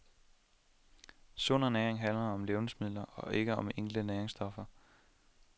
Sund ernæring handler om levnedsmidler og ikke om enkelte næringsstoffer.